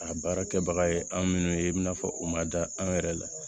A baara kɛbaga ye an minnu ye i bɛna fɔ u ma da an yɛrɛ la